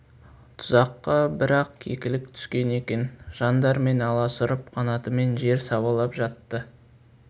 тұзаққа бір-ақ кекілік түскен екен жан дәрмен аласұрып қанатымен жер сабалап жатты